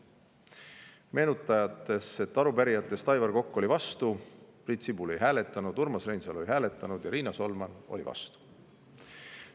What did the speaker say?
Meenutan, et arupärijatest Aivar Kokk oli vastu, Priit Sibul ei hääletanud, Urmas Reinsalu ei hääletanud ja Riina Solman oli vastu.